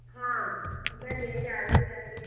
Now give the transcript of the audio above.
ഹാ എന്താ ജയ രാവിലെ രാവിലെ.